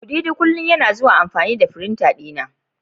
kudidi kullum yana zuwa amfani da firinta dina.